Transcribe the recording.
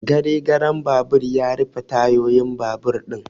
Gare garen babur ya rufe tayoyin babur ɗin